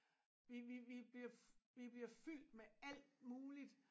Vi vi vi bliver vi bliver fyldt med alt muligt